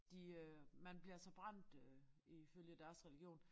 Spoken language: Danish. De øh man bliver altså brændt øh ifølge deres religion